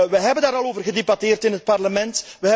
We hebben daar al over gedebatteerd in het Parlement.